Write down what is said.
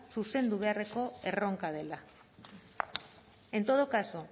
zuzendu beharreko erronka dela en todo caso